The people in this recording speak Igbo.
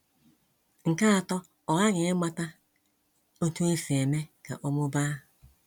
Nke atọ, ọ ghaghị ịmata otú e si eme ka ọ mụbaa.